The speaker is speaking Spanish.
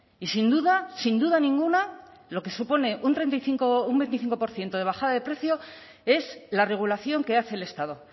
y sin duda sin duda ninguna lo que supone un treinta y cinco un veinticinco por ciento de bajada de precio es la regulación que hace el estado